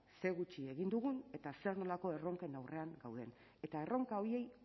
zer gutxi egin dugun eta zer nolako erronken aurrean gauden eta erronka horiei